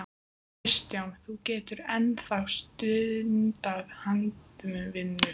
Kristján: Þú getur enn þá stundað handavinnu?